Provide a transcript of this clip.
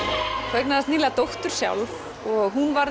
þú eignaðist nýlega dóttur sjálf og hún